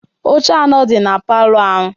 Oche anọ dị na palọ ahụ.